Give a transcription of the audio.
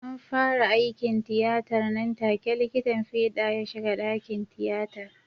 An fara aikin tiyatar nan take likitan fida ya shiga dakin tiyatar.